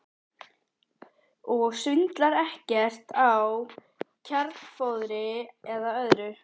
Magnús Hlynur: Og svindlar ekkert á kjarnfóðri eða öðru?